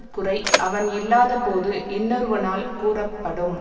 குறை அவன் இல்லாதபோது இன்னொருவனால் கூறப்படும்